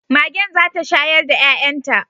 Magen zata shayar da 'ya'yanta